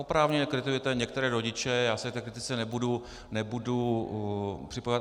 Oprávněně kritizujete některé rodiče, já se k té kritice nebudu připojovat.